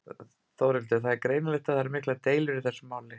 Þórhildur: Það er greinilegt að það eru miklar deilur í þessu máli?